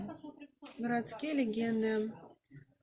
городские легенды